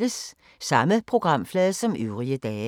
Samme programflade som øvrige dage